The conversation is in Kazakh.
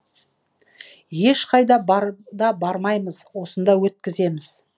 ешқайда да бармаймыз осында өткіземіз